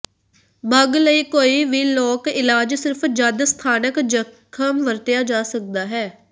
ਬੱਗ ਲਈ ਕੋਈ ਵੀ ਲੋਕ ਇਲਾਜ ਸਿਰਫ ਜਦ ਸਥਾਨਕ ਜਖਮ ਵਰਤਿਆ ਜਾ ਸਕਦਾ ਹੈ